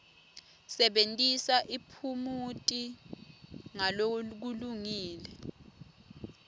sebentisa tiphumuti ngalokulungile